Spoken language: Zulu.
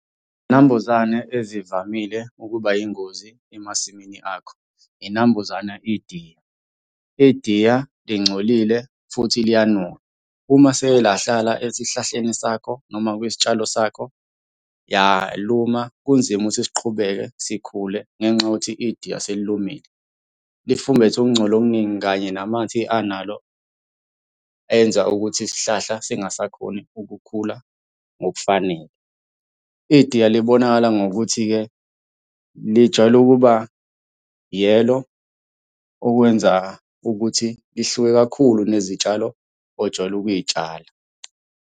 Izinambuzane ezivamile ukuba yingozi emasimini akho, inambuzana idiya. Idiya lingcolile, futhi liyanuka. Uma selike lahlala esihlahleni sakho, noma kwisitshalo sakho yaluma, kunzima ukuthi siqhubeke sikhule ngenxa yokuthi idiya selilumile. Lifumbethe ukungcola okuningi kanye namathe analo enza ukuthi isihlahla singasakhoni ukukhula ngokufanele. Idiya libonakala ngokuthi-ke lijwayele ukuba yellow, okwenza ukuthi lihluke kakhulu nezitshalo ojwayele ukuy'tshala.